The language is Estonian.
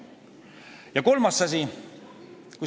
Ja kolmas asi.